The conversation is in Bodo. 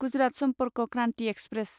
गुजरात सम्पर्क क्रान्ति एक्सप्रेस